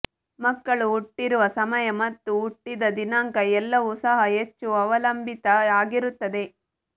ಮಕ್ಕಳು ಹುಟ್ಟಿರುವ ಸಮಯ ಮತ್ತು ಹುಟ್ಟಿದ ದಿನಾಂಕ ಎಲ್ಲವು ಸಹ ಹೆಚ್ಚು ಅವಲಂಬಿತ ಆಗಿರುತ್ತದೆ